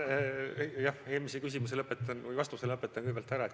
Jah, eelmise küsimuse vastuse lõpetan kõigepealt ära.